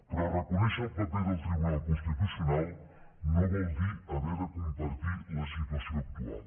però reconèixer el paper del tribunal constitucional no vol dir haver de compartir la situació actual